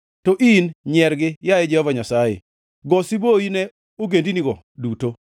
To in nyiergi, yaye Jehova Nyasaye, go siboi ne ogendinigo duto.